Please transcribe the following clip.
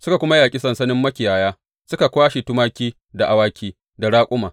Suka kuma yaƙi sansanin makiyaya suka kwashe tumaki da awaki da raƙuma.